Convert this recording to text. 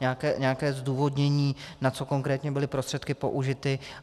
Nějaké zdůvodnění, na co konkrétně byly prostředky použity.